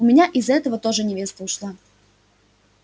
у меня из-за этого тоже невеста ушла